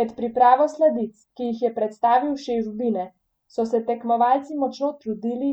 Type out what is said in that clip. Med pripravo sladic, ki jih je predstavil šef Bine, so se tekmovalci močno trudili,